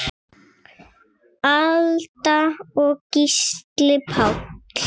Alda og Gísli Páll.